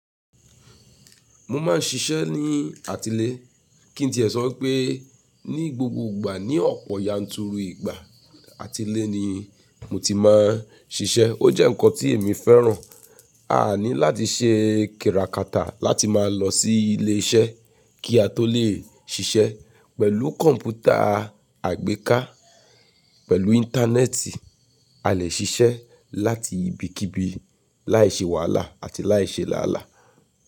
Mo máa ń ṣiṣẹ́ ní àti ilé, kí n tí ẹ sọ pé ní gbogbo ìgbà ní ọ̀pọ̀ yanturu ìgbà àti ilé ni mo ti máa ń ṣiṣẹ́. Ó jẹ́ ǹkan tí èmi fẹ́ràn. A ní láti ṣe kiràkàtà láti máa lọ sí ilé iṣẹ́ kí a tó lè ṣiṣẹ́. Pẹ̀lú komputa àgbéká, pẹ̀lú íńtánẹ́ẹ̀tì a lè ṣiṣẹ́ láti ibikíbi láìṣe wàhálà àti láìṣe làálàá.